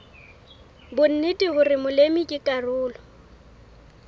bonnete hore molemi ke karolo